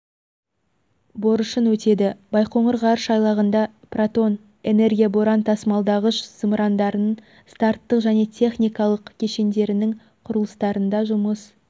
борышын өтеді байқоңыр ғарыш айлағында протон энергия-боран тасымалдағыш зымырандарының старттық және техникалық кешендерінің құрылыстарында жұмыс